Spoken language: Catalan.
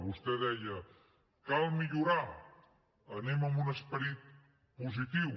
vostè deia cal millorar hi anem amb un esperit positiu